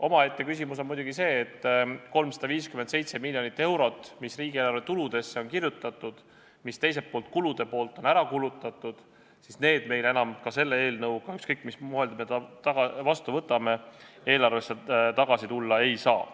Omaette küsimus on muidugi see, et 357 miljonit eurot, mis riigieelarve tuludesse on kirjutatud ja ka ära kulutatud, meie eelarvesse enam tagasi tulla ei saa, ükskõik, mis variandis me selle eelnõu ka vastu ei võta.